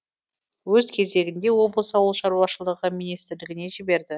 өз кезегінде облыс ауылшаруашылығы министрлігіне жіберді